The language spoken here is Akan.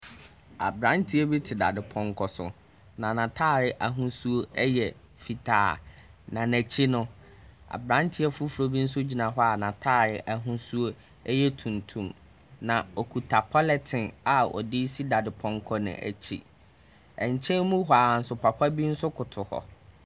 Aberabteɛ bi te dadepɔnkɔ so, na n'atade ahosuo yɛ fitaa. Na n'akyi no, aberanteɛ foforɔ bi nso gyina hɔ a n'atadeɛ ahosuo yɛ tuntum. Na ɔkuta polythene a ɔde resi dadepɔnkɔ no akyi. Nkyɛn mu hɔ ara nso, papa bi nso koto hɔ.